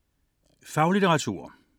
Faglitteratur